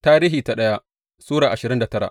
daya Tarihi Sura ashirin da tara